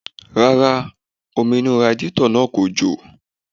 Rárá, omi inú radiátọ̀ náà kò jò